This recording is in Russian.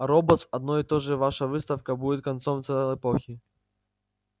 робот одно и то же ваша отставка будет концом целой эпохи